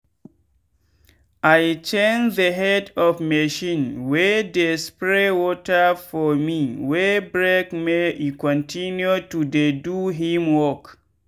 i change the head of machine wey dey spray water for me wey breakmake e continue to dey do him work.